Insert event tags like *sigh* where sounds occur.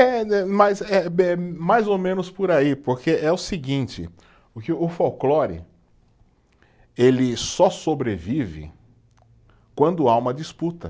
É né, mas eh, *unintelligible* mais ou menos por aí, porque é o seguinte, porque o folclore, ele só sobrevive quando há uma disputa.